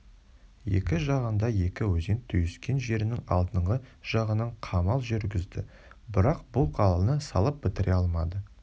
екі жағында екі өзен түйіскен жерінің алдыңғы жағынан қамал жүргізді бірақ бұл қаланы салып бітіре алмады